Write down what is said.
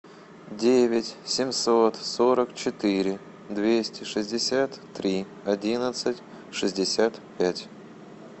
девять семьсот сорок четыре двести шестьдесят три одиннадцать шестьдесят пять